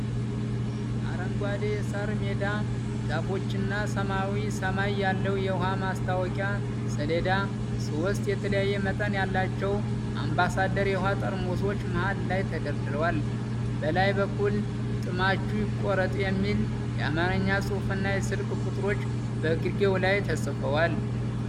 አረንጓዴ የሣር ሜዳ፣ ዛፎችና ሰማያዊ ሰማይ ያለው የውሃ ማስታወቂያ ሰሌዳ። ሶስት የተለያየ መጠን ያላቸው አምባሳደር የውሃ ጠርሙሶች መሃል ላይ ተደርድረዋል። በላይ በኩል "ጥማችሁ ይቆረጥ!" የሚል የአማርኛ ጽሑፍና የስልክ ቁጥሮች በግርጌው ላይ ተጽፈዋል።